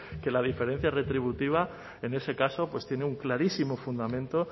que la diferencia retributiva en ese caso tiene un clarísimo fundamento